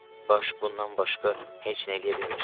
Baş bundan başqa heç nə eləyə bilmir.